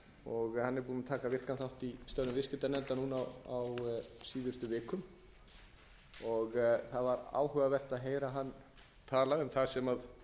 og hann er búinn að taka virkan þátt í störfum viðskiptanefndar á síðustu vikum það var áhugavert að heyra hann tala um það sem